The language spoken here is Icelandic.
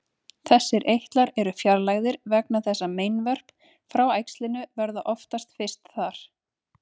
Þessir eitlar eru fjarlægðir vegna þess að meinvörp frá æxlinu verða oftast fyrst þar.